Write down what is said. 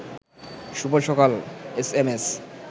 শুভ সকাল এসএমএস